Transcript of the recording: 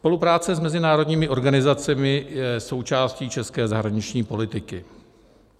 Spolupráce s mezinárodními organizacemi je součástí české zahraniční politiky.